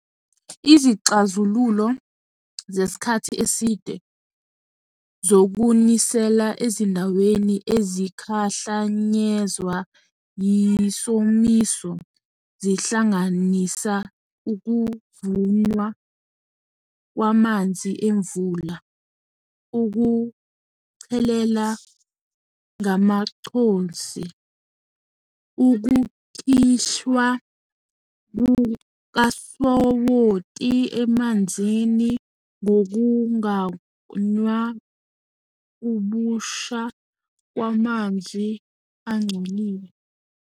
Izixazululo zesikhathi eside zokunisela ezindaweni ezikhahlanyezwa yisomiso, zihlanganisa ukuvunwa kwamanzi emvula, ukuchelela ngamaconsi, ukukhishwa kukasawoti emanzini ubusha kwamanzi angcolile.